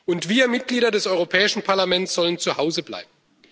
Und wir Mitglieder des Europäischen Parlaments sollen zu Hause bleiben!